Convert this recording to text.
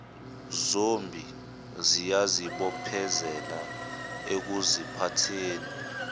zombi ziyazibophezela ekuziphatheni